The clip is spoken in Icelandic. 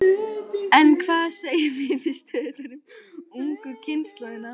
En hvað segja niðurstöðurnar um ungu kynslóðina?